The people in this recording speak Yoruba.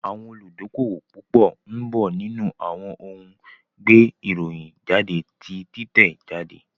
Àwọn olùdókówò púpọ̀ ń bọ̀ nínú àwọn ohun gbé ìròyìn jáde ti títẹ̀ jáde